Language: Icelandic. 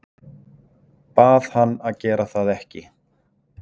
Bað hann að gera það ekki.